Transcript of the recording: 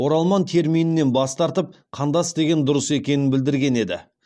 оралман терминінен бас тартып қандас деген дұрыс екенін білдірген еді